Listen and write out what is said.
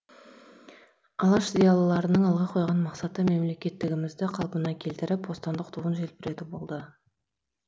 алаш зиялыларының алға қойған мақсаты мемлекеттілігімізді қалпына келтіріп бостандық туын желбірету болды